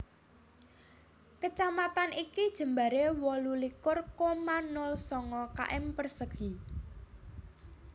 Kecamatan iki jembaré wolu likur koma nol sanga km persegi